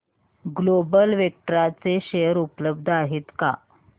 global Vectra चे share उपलब्ध आहेत का